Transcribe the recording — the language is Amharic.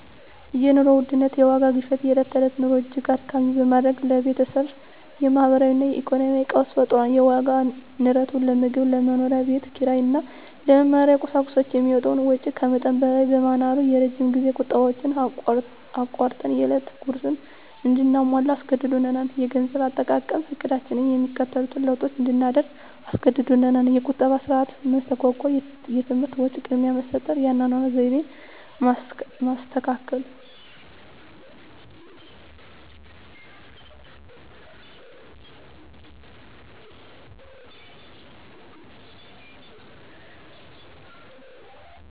የኑሮ ውድነት (የዋጋ ግሽበት) የዕለት ተዕለት ኑሮን እጅግ አድካሚ በማድረግ ለቤተሰቡ የማህበራዊ እና ኢኮኖሚያዊ ቀውስ ፈጥሯል። የዋጋ ንረቱ ለምግብ፣ ለመኖሪያ ቤት ኪራይ እና ለመማሪያ ቁሳቁሶች የሚወጣውን ወጪ ከመጠን በላይ በማናሩ፣ የረጅም ጊዜ ቁጠባዎችን አቋርጠን የዕለት ጉርስን እንድናሟላ አስገድዶናል። -የገንዘብ አጠቃቀም ዕቅዳችንን የሚከተሉትን ለውጦች እንድናደርግ አስገድዶናል -የቁጠባ ሥርዓት መስተጓጎል -የትምህርት ወጪ ቅድሚያ መስጠት -የአኗኗር ዘይቤ ማስተካከል